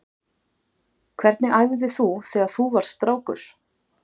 Hvernig æfði þú þegar þú varst strákur?